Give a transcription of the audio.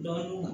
Dɔɔnin na